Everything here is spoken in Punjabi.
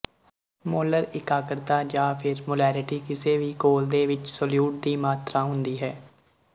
ਮੋਲਰ ਇਕਾਗਰਤਾ ਜਾ ਫਿਰ ਮੋਲੈਰਿਟੀ ਕਿਸੇ ਵੀ ਘੋਲ ਦੇ ਵਿੱਚ ਸੋਲਿਉਟ ਦੀ ਮਾਤਰਾ ਹੁੰਦੀ ਹੈ